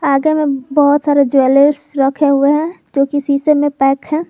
आगे मे बहोत सारे ज्वेलर्स रखे हुए है जो किसी शीशे मे पैक है।